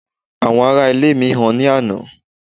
àwọn ará ilé mi ha ni àná